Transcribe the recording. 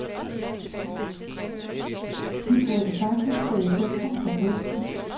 De burde faktisk stå i centrum for festen.